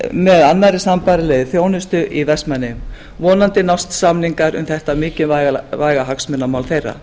með annarri sambærilegri þjónustu í vestmannaeyjum vonandi nást samningar um þetta mikilvæga hagsmunamál þeirra